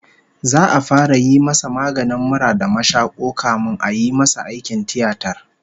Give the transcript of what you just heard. His cold and catarrh will be treated first before the surgery